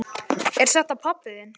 Er þetta pabbi þinn?